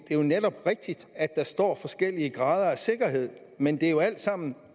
er jo netop rigtigt at der står forskellige grader af sikkerhed men det er jo alt sammen